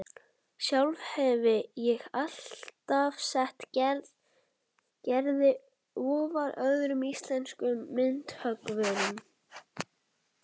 Sjálf hefi ég alltaf sett Gerði ofar öðrum íslenskum myndhöggvurum